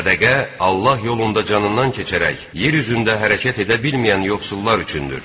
Sədəqə Allah yolunda canından keçərək, yer üzündə hərəkət edə bilməyən yoxsullar üçündür.